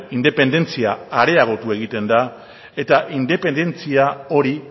independentzia areagotu egiten da eta independentzia hori